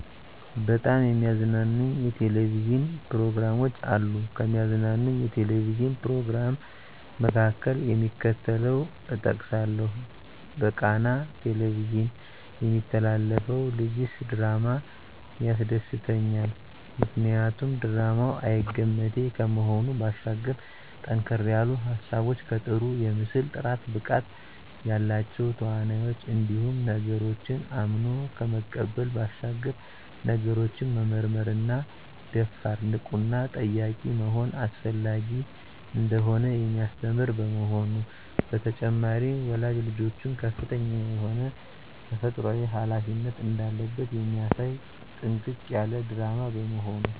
በጣም የሚያዝናኑኝ የ"ቴሌቪዥን" ፕሮግራሞች አሉ፣ ከሚያዝናናኝ የ"ቴሌቪዥን" "ፕሮግራም" መካከል፣ እደሚከተለው እጠቅሳለሁ በቃና "ቴሌቪዥን" የሚተላለፈው ልጀስ ድራማ ያስደስተኛል። ምክንያቱ ድራማው አይገመቴ ከመሆኑ ባሻገር ጠንከር ያሉ ሀሳቦች ከጥሩ የምስል ጥራት፣ ብቃት ያላቸው ተዋናኞች እንዲሁም ነገሮችን አምኖ ከመቀበል ባሻገር ነገሮችን መመርመርና ደፋር፣ ንቁና ጠያቂ መሆን አስፈላጊ እንደሆነ የሚያስተምር በመሆኑ። በተጨማሪም ወላጅ ልጆቹ ከፍተኛ የሆነ ተፈጥሮአዊ ሀላፊነት እንዳለበት የሚያሳይ ጥንቅቅ ያለ ድራማ በመሆኑ።